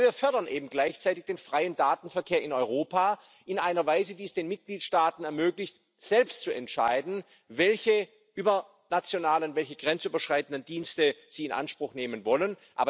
Aber wir fördern eben gleichzeitig den freien Datenverkehr in Europa in einer Weise, die es den Mitgliedstaaten ermöglicht, selbst zu entscheiden, welche übernationalen, welche grenzüberschreitenden Dienste sie in Anspruch nehmen wollen.